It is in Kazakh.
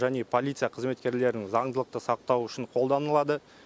және полиция қызметкерлерінің заңдылықты сақтауы үшін қолданылады